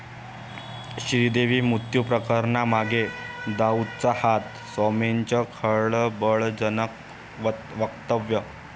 श्रीदेवी मृत्यू प्रकरणामागे दाऊदचा हात, स्वामींचं खळबळजनक वक्तव्य